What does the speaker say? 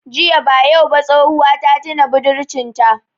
Ziya ba yau ba tsohuwa ta tina budurcin ta